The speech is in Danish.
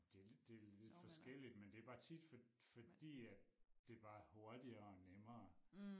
Det lidt det lidt forskelligt men det bare tit fordi at det bare er hurtigere og nemmere